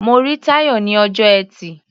Mo rí Táyọ̀ ní ọjọ́ Ẹtì.